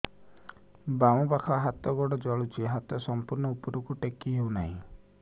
ବାମପାଖ ହାତ ଗୋଡ଼ ଜଳୁଛି ହାତ ସଂପୂର୍ଣ୍ଣ ଉପରକୁ ଟେକି ହେଉନାହିଁ